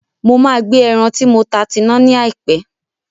Mo máa gbe ẹran tí mo ta tina ní àìpé